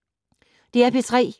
DR P3